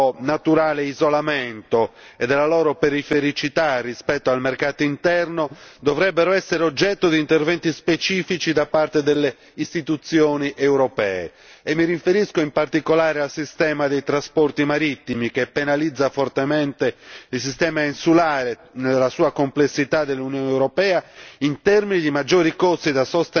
Questi ultimi, in virtù del loro naturale isolamento e della loro perifericità rispetto al mercato, dovrebbero essere oggetto di interventi specifici da parte delle istituzioni europee e mi riferisco in particolare al sistema dei trasporti marittimi che penalizza fortemente il sistema insulare nella sua complessità dell'Unione europea